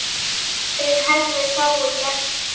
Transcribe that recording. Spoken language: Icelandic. Þar hefðu fáir gert betur.